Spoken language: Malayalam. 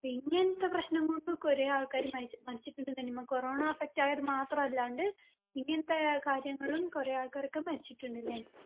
ഇങ്ങനത്തെ പ്രശ്നം കൊണ്ടും കൊറേ ആൾക്കാർ മരിച്ച് മരിച്ചിട്ടുണ്ട് നനിമ്മ corona effect ആയവർ മാത്രം അല്ലാണ്ട് ഇങ്ങനത്തെ കാര്യങ്ങളും കുറേ ആൾക്കാരൊക്കെ മരിച്ചിട്ടുണ്ട്ലെ